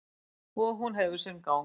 Og hún hefur sinn gang.